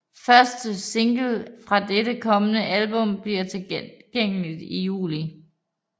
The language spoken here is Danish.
Første single fra dette kommende album bliver tilgængelig i juli